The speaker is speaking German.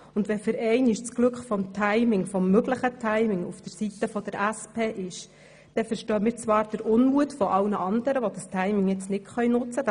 Und wenn für einmal das Glück eines möglichen guten Timings bei der SP liegt, so verstehen wir zwar den Unmut aller andern, die dieses Timing nun nicht nutzen können.